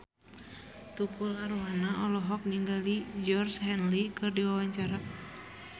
Tukul Arwana olohok ningali Georgie Henley keur diwawancara